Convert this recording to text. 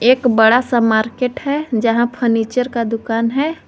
एक बड़ा सा मार्केट है जहां फर्नीचर का दुकान है।